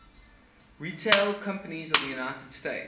retail companies of the united states